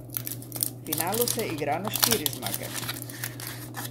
V finalu se igra na štiri zmage.